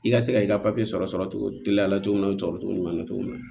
I ka se ka i ka sɔrɔ cogo giliya la cogo min na o sɔrɔcogo ɲuman na cogo min na